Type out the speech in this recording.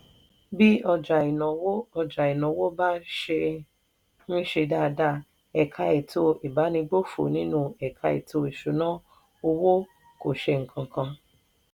bí ọjà ìnáwó ọjà ìnáwó bá ṣe ń ṣe dáadáa ẹ̀ka ètò ìbánigbófò nínú ẹ̀ka ètò ìṣúnná owó kò ṣe nǹkan kan.